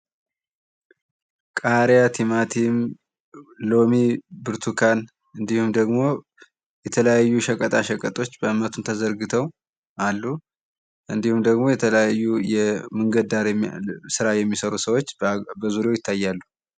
ቃሪያ ቲማቲም ሎሚ ብርቱካን እንድሁም ደግሞ የተለያዩ ሸቀጣ ሸቀጦች መቱን ተዘርግተው አሉ። እንድሁም ደግሞ የተለያዩ የመንገድ ዳር ስራ የሚሰሩ ሰዎች በዙሪያው ይታያሉ።